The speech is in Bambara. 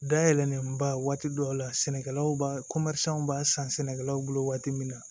Dayɛlɛlenba waati dɔw la sɛnɛkɛlaw b'a b'a san sɛnɛkɛlaw bolo waati min na